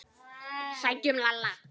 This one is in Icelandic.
Sækjum Lalla!